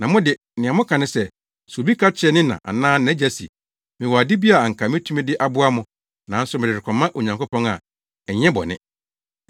Na mo de, nea moka ne sɛ, sɛ obi ka kyerɛ ne na anaa nʼagya se, ‘Mewɔ ade bi a anka metumi de aboa mo, nanso mede rekɔma Onyankopɔn’ a, ɛnyɛ bɔne.